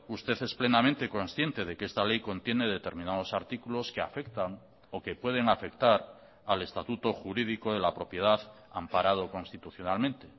usted es plenamente consciente de que esta ley contiene determinados artículos que afectan o que pueden afectar al estatuto jurídico de la propiedad amparado constitucionalmente